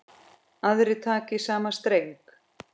Aðrir taka í sama streng.